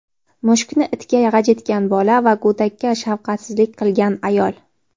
mushukni itga g‘ajitgan bola va go‘dakka shafqatsizlik qilgan ayol….